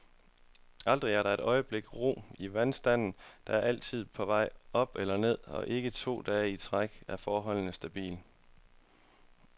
Aldrig er der et øjebliks ro i vandstanden, der altid er på vej op eller ned, og ikke to dage i træk er forholdene stabile.